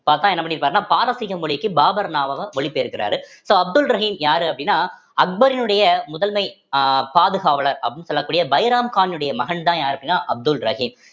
பாத்தா என்ன பண்ணியிருப்பாருன்னா பாரசீக மொழிக்கு பாபர் நாவகம் மொழி பெயர்க்கிறாரு so அப்துல் ரஹீம் யாரு அப்படின்னா அக்பரினுடைய முதல்மை அஹ் பாதுகாவலர் அப்படின்னு சொல்லக்கூடிய பைராம் கானுடைய மகன்தான் யாரு அப்படின்னான்னா அப்துல் ரஹீம்